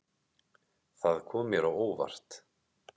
Það kom mér á óvart.